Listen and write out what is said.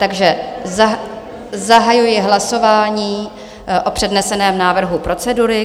Takže zahajuji hlasování o předneseném návrhu procedury.